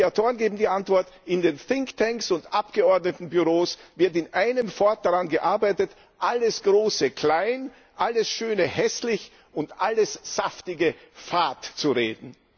Und die Autoren geben die Antwort In den Think Tanks und Abgeordnetenbüros wird in einem fort daran gearbeitet, alles Große klein, alles Schöne hässlich und alles Saftige fad zu reden.